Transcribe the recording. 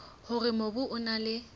hore mobu o na le